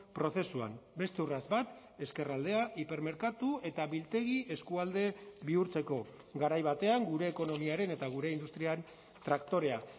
prozesuan beste urrats bat ezkerraldea hipermerkatu eta biltegi eskualde bihurtzeko garai batean gure ekonomiaren eta gure industrian traktorea